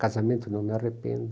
Casamento, não me arrependo.